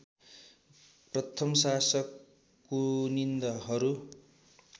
प्रथम शासक कुनिन्दहरू